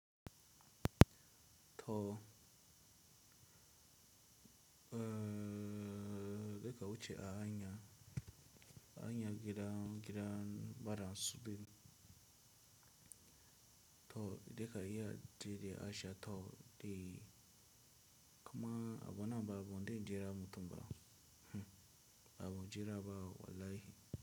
To, eh, da ka wuce a hanya, hanya gidan, gidan bada suɓi. To, idan ka iya ji da Aisha to, di kama a buna na faruwa zan jira mutumba. Hmm, a bujira ba wallahi.